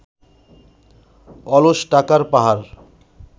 অলস টাকার পাহাড়